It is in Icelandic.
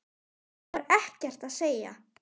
Það var ekkert að segja.